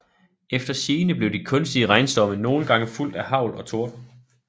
Efter sigende blev de kunstige regnstorme nogle gange fulgt af hagl og torden